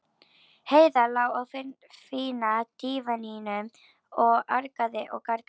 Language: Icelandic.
Heiða lá á fína dívaninum og argaði og gargaði.